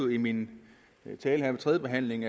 i min tale her ved tredjebehandlingen